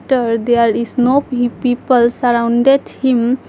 Dirt there is no pe people surrounded him.